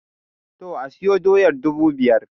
To, asiyo doyar dubu biyar